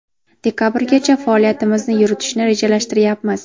Dekabrgacha faoliyatimizni yuritishni rejalashtiryapmiz.